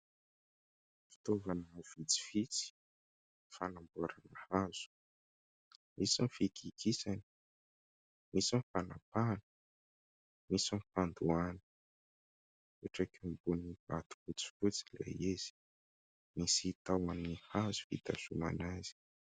Fitaovana vitsivitsy fanamboarana hazo. Misy ny fikikisana, misy ny fanapahana, misy ny fandoahana. Mipetraka eo ambony vato fotsifotsy ilay izy. Misy tahony hazo fitazomana azy.